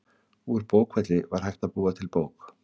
Úr bókfelli var hægt að búa til bók.